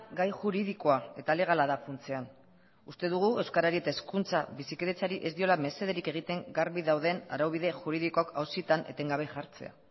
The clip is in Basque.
gai juridikoa eta alegala da funtsean uste dugu euskarari eta hezkuntza bizikidetzari ez diola mesederik egiten garbi dauden araubide juridikoak auzietan etengabe jartzea